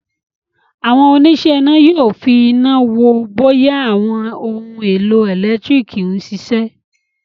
Àwọn òníṣẹ́-iná yóò fi iná wo bóyá àwọn ohun-èlò ẹ̀lẹ́tíríkì ń ṣiṣẹ́.